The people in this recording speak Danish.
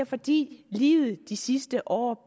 fordi livet de sidste år